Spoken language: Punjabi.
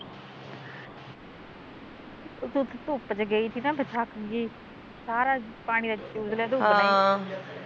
ਫਿਰ ਤੂੰ ਧੁੱਪ ਚ ਗਈ ਥੀ ਨਾ ਫਿਰ ਥੱਕ ਗੀ ਸਾਰਾ ਪਾਣੀ ਤਾਂ ਚੂਸ ਲਿਆ ਧੁੱਪ ਨੇ ਈ